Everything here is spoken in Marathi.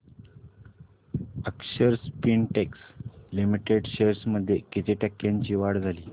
अक्षर स्पिनटेक्स लिमिटेड शेअर्स मध्ये किती टक्क्यांची वाढ झाली